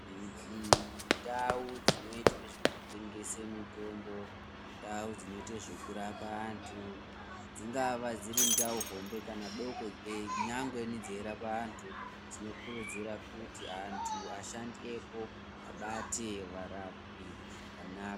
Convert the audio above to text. Ndau dzino itwe zveku tengese mitombo ndau dzino ite zveku rapa antu dzingava dziri ndau hombe kana doko nyangweni dzei rapa antu tino kurudzira kuti antu ashandi epo abate varapwi zvakanaka.